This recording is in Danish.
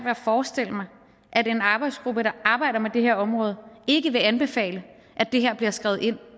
at forestille mig at en arbejdsgruppe der arbejder med det her område ikke vil anbefale at det her bliver skrevet ind